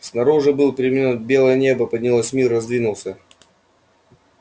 снаружи были перемены белое небо поднялось мир раздвинулся